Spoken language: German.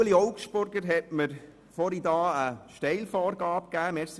Ueli Augstburger hat mir eine Steilvorlage gegeben.